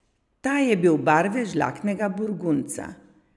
Ta je bil barve žlahtnega burgundca.